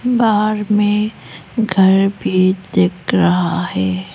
बाहर में घर भी देख रहा है।